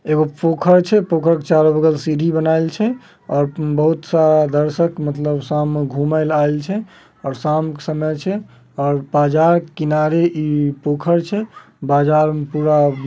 एगो पोखर छै पोखर के चारों बगल सीढ़ी बनाऐल छै और बहुत-सा दर्शक मतलब शाम में घूमे आयल छै। और शाम के समय छै और बाजार किनारे ई पोखर छै । बाजार में पूरा --